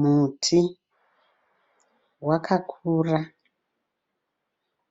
Muti wakakura